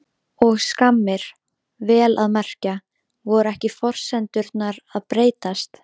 Og skammir, vel að merkja. voru ekki forsendurnar að breytast?